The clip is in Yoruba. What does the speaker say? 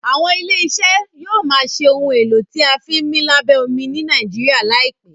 àwọn ilé iṣẹ yóò má ṣe Ohun èlò tí a fi ńmí lábẹ́ omi ní Nàìjíríà láìpé.